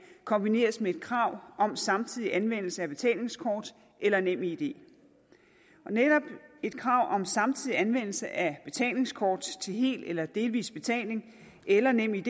kombineres med et krav om samtidig anvendelse af betalingskort eller nemid netop et krav om samtidig anvendelse af betalingskort til hel eller delvis betaling eller nemid